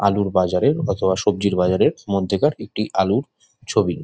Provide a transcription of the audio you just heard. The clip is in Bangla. আলুর বাজারের অতবা সবজির বাজারের মধ্যে কার একটি আলুর ছবি।